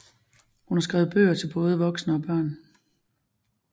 Hun har skrevet bøger til både voksne og børn